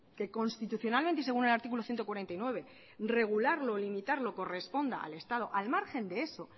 que constitucionalmente y según el artículo ciento cuarenta y nueve regularlo y limitarlo corresponde al estado al margen de eso